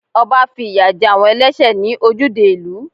Ọba fi ìyà jẹ àwọn ẹlẹ́sẹ̀ ní ojúde ìlú.